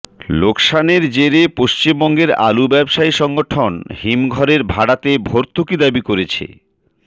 লোকসানের জেরে পশ্চিমবঙ্গের আলু ব্যবসায়ী সংগঠন হিমঘরের ভাড়াতে ভর্তুকি দাবি করছে